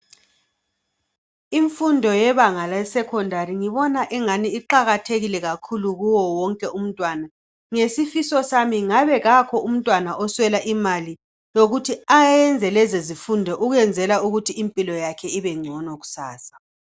Imfundo yebanga lesecondary ngibona ingani iqakathekile kakhulu kuye wonke umntwana. Ngesifiso sami ngabe kakho umntwana oswela imali yokuthi ayenze lezo zifundo ukwenzela ukuthi impilo yakhe ibengcono kusasa.